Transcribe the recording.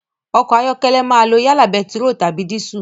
Ọkọ̀ ayọ́kẹ́lẹ́ máa lo yálà bẹntiróòlù tàbí dísù.